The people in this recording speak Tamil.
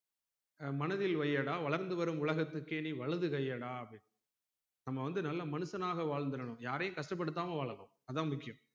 மனதில் வையடா வளர்ந்து வரும் உலகத்துக்கே நீ வலதுக்கையடா அப்டின்னு நம்ம வந்து நல்ல மனுஷனாக வாழ்ந்துடனும் யாரையும் கஷ்டப்படுத்தாம வாழனும் அதான் முக்கியம்